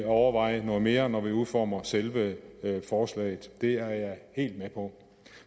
overveje noget mere når vi udformer selve forslaget det er jeg helt med på